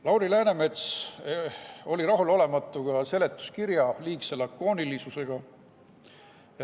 Lauri Läänemets oli rahulolematu ka seletuskirja liigse lakoonilisusega.